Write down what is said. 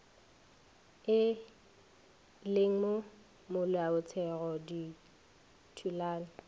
e leng mo molaotheong dithulano